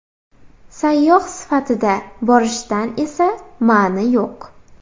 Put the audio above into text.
Sayyoh sifatida borishdan esa ma’ni yo‘q.